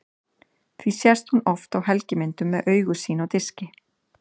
Því sést hún oft á helgimyndum með augu sín á diski.